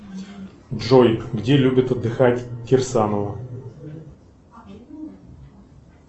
джой где любит отдыхать кирсанова